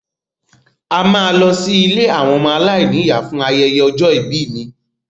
A máa lọ sí ilé àwọn ọmọ aláìní ìyá fún ayẹyẹ ọjọ́ ìbí mi